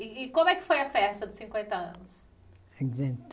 E e como é que foi a festa dos cinquenta anos?